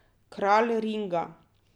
Kralj ringa.